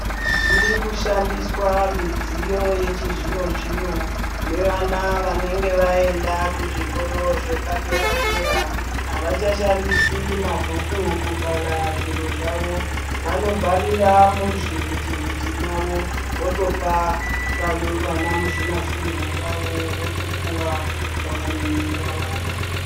Dziri kushandiswa midziyo yechizvino zvino nevana vanenge vaenda kuzvikora zvepadera dera avachashandisi mabhuku kubhala zviro zvavo vanobhalira muzvivhitivhiti mavo votopa vanamuzvinafundo vavo votopuwa zvavanenge vawana.